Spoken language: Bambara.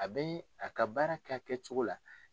A bɛ a ka baara kɛ a kɛcogo la.